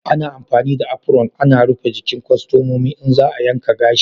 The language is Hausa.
Ana amfani da apron ana rufe gikin kwastomomi in za a yanka gashi.